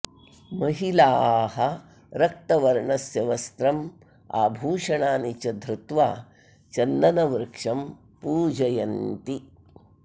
महिलाः रक्तवर्णस्य वस्त्रम् आभूषणानि च धृत्वा चन्दनवृक्षं पूजयन्ति